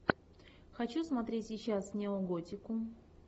хочу смотреть сейчас неоготику